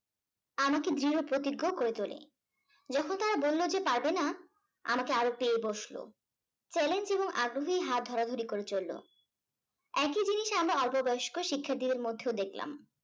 আমাকে দৃঢ় প্রতিজ্ঞ করে তোলে। যখন তারা বলল যে পারবেনা, আমাকে আরো পেয়ে বসলো challenge এবং আগ্রহ হাত ধরাধরি করে চললো। একই জিনিস আমরা অল্প বয়স্ক শিক্ষার্থীদের মধ্যেও দেখলাম।